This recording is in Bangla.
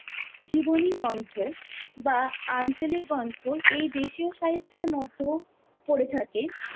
জীবনী গন্থ বা আঞ্চলিক গন্থ এই দেশীয় সাহিত্যের মধ্যেও পড়ে থাকে।